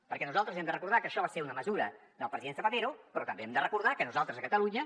perquè nosaltres hem de recordar que això va ser una mesura del president zapatero però també hem de recordar que nosaltres a catalunya